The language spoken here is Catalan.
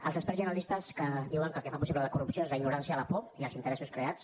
els experts i analistes diuen que el que fa possible la corrupció és la ignorància la por i els interessos creats